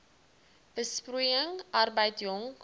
besproeiing arbeid jong